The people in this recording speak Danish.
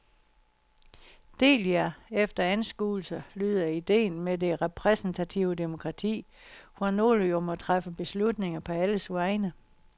Del jer efter anskuelser lyder ideen med det repræsentative demokrati, hvor nogle jo må træffe beslutninger på alles vegne.